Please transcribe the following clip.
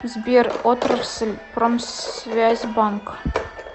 сбер отрасль промсвязьбанк